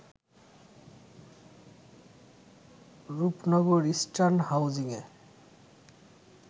Rupnagar eastern হাউজিংয়ে